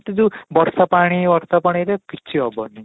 ଏମିତି ଯୋଉ ବର୍ଷା ପାଣି ବର୍ଷା ପାଣିରେ କିଛି ହେବନି